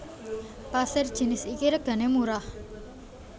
Pasir jinis iki regané murah